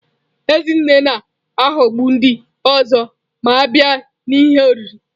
Ezinne na-aghọgbu ndị ọzọ ma a bịa n'ihe oriri.